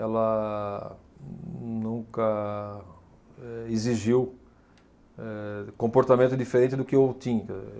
Ela nunca, eh, exigiu, eh, comportamento diferente do que eu tinha, entendeu.